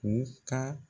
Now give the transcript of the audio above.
U ka